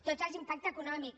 tots els impactes econòmics